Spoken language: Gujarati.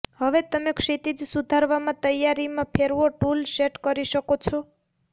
હવે તમે ક્ષિતિજ સુધારવામાં તૈયારીમાં ફેરવો ટૂલ સેટ કરી શકો છો